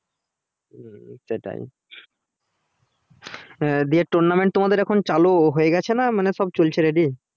হুম সেটাই আহ দিয়ে tournament তোমাদের এখন চালু হয়ে গেছে না মানে সব চলছে ready